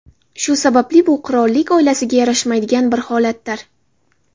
Shu sababli bu qirollik oilasiga yarashmaydigan bir holatdir.